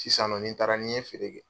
Sisannɔ ni n taara ni ɲɛ feere kɛ.